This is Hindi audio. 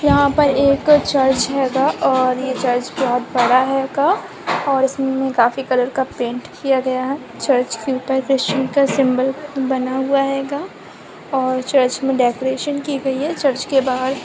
यहाँ पर एक चर्च हैगा और ये चर्च बहोत बड़ा हैगा और इसमें काफी कलर का पेंट किया गया है। चर्च के ऊपर क्रिस्टीयन का सिंबल बना हुआ हैगा और चर्च में डेकोरेशन की गयी है। चर्च के बाहर --